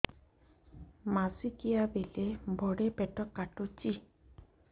ମାସିକିଆ ବେଳେ ବଡେ ପେଟ କାଟୁଚି